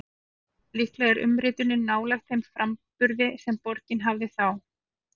Líklega er umritunin nálægt þeim framburði sem borgin hafði þá.